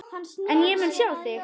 En ég mun sjá þig.